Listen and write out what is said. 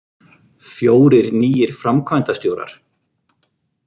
Fjórir nýir framkvæmdastjórar